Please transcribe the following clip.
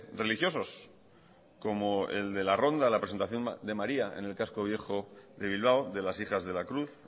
religiosos como el de la ronda la presentación de maría en el casco viejo de bilbao de las hijas de la cruz